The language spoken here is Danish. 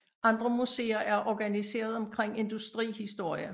Andre museer er organiseret omkring industrihistorie